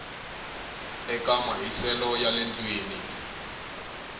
eka mahiselo ya le ndlwini